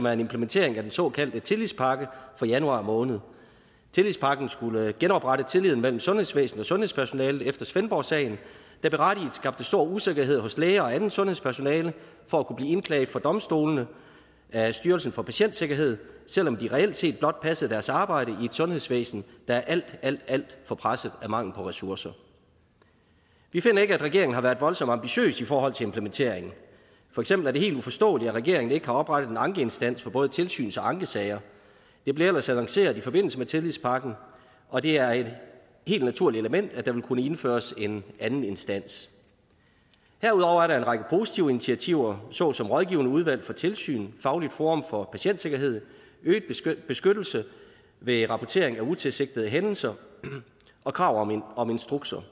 er en implementering af den såkaldte tillidspakke fra januar måned tillidspakken skulle genoprette tilliden mellem sundhedsvæsenet og sundhedspersonalet efter svendborgsagen der berettiget skabte stor usikkerhed hos læger og andet sundhedspersonale for at kunne blive indklaget for domstolene af styrelsen for patientsikkerhed selv om de reelt set blot passede deres arbejde i et sundhedsvæsen der er alt alt alt for presset af mangel på ressourcer vi finder ikke at regeringen har været voldsomt ambitiøse i forhold til implementeringen for eksempel er det helt uforståeligt at regeringen ikke har oprettet en ankeinstans for både tilsyns og ankesager det blev ellers annoncerede i forbindelse med tillidspakken og det er et helt naturligt element at der ville kunne indføres en anden instans herudover er der en række positive initiativer såsom rådgivende udvalg for tilsyn fagligt forum for patientsikkerhed øget beskyttelse ved rapportering af utilsigtede hændelser og krav om instrukser